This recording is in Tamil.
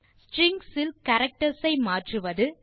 ஸ்ட்ரிங்ஸ் இல் கேரக்டர்ஸ் ஐ மற்றுவது